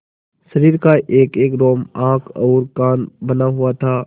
शरीर का एकएक रोम आँख और कान बना हुआ था